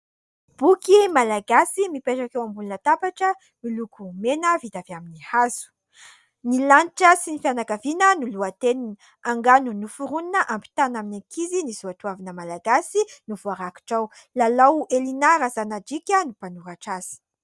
Boky malagasy mipetraka eo ambonina latabatra miloko mena vita avy amin'ny hazo ''ny lanitra sy ny fianakaviana'' no lohateny, angano noforonina hampitana amin'ny ankizy ny soatoavina malagasy no voarakitra ao, Lalao -Elina Razanadrika no mpanoratra azy.